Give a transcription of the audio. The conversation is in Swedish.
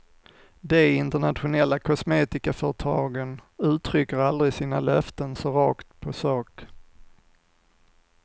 De internationella kosmetikaföretagen uttrycker aldrig sina löften så rakt på sak.